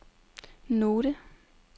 note